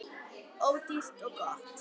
Ódýrt og gott.